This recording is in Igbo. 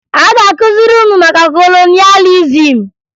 A ga-akụziri unu maka kolonịalizim?